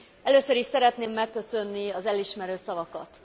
Először is szeretném megköszönni az elismerő szavakat.